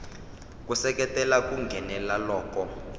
ku seketela ku nghenelela loku